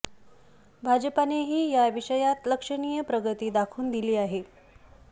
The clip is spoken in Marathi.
भाजपानेही या विषयात लक्षणीय प्रगती दाखवून दिली आहे